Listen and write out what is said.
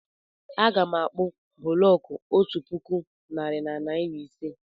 Aga m akpu bụlọku otú puku narị na narị ise